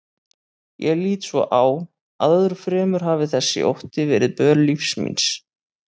Ég lít svo á að öðru fremur hafi þessi ótti verið böl lífs míns.